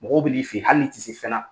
Mɔgɔw b'i fɛ yen hali ni tɛ se fɛna